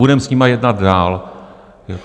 Budeme s nimi jednat dál.